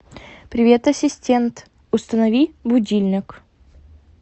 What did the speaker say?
привет ассистент установи будильник